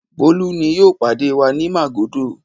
Bólú ni yóò pàdé wa ní Màgódò.